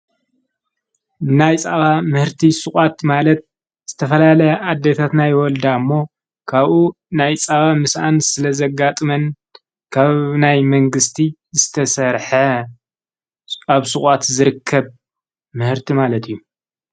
ናይ ፃባ ምህርቲ ስቓት ማለት ዝተፈላለ ኣደታትናይ ወልዳ እሞ ካብኡ ናይ ፃባ ምስኣን ስለ ዘጋ ጥመን ካብ ናይ መንግሥቲ ዝተሠርሐ ኣብ ሥቓት ዝርከብ ምህርቲ ማለጥ እዩ።